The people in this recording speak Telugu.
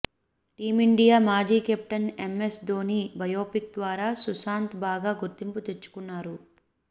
టీమిండియా మాజీ కెప్టెన్ ఎంఎస్ ధోనీ బయోపిక్ ద్వారా సుశాంత్ బాగా గుర్తింపు తెచ్చుకున్నారు